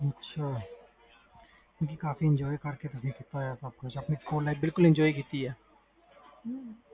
ਅੱਛਾ ਕਾਫੀ enjoy ਕੀਤਾ ਤੁਸੀ ਆਪਣੀ life enjoy ਕੀਤੀ ਆ